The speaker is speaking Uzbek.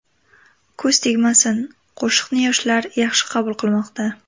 Ko‘z tegmasin, qo‘shiqni yoshlar yaxshi qabul qilmoqda.